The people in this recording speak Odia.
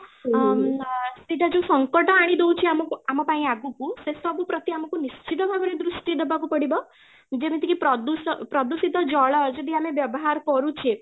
ଅମ୍ ଅ ଏଇଟା ଯୋଉ ସଙ୍କଟ ଆଣି ଦେଉଛି ଆମ ଆମ ପାଇଁ ଆଗକୁ ସେ ସବୁ ପ୍ରତି ଆମକୁ ନିଶ୍ଚିତ ଭାବରେ ଆମକୁ ଦୃଷ୍ଟି ଦେବାକୁ ପଡିବ, ଯେମିତି ପ୍ରଦୂଷ ପ୍ରଦୂଷିତ ଜଳ ଯଦି ଆମେ ବ୍ୟବହାର କରୁଛେ